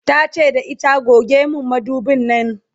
tace da ita"goge min madubin Nan!"